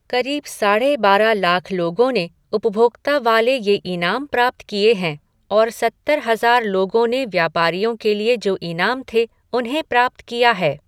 करीब साढ़े बारह लाख लोगों ने उपभोक्ता वाला ये इनाम प्राप्त किए हैं और सत्तर हजार लोगों ने व्यापारियों के लिए जो इनाम थे, उन्हें प्राप्त किया है।